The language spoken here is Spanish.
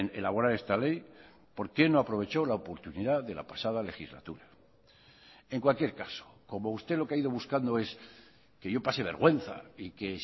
elaborar esta ley por qué no aprovecho la oportunidad de la pasada legislatura en cualquier caso como usted lo que ha ido buscando es que yo pase vergüenza y que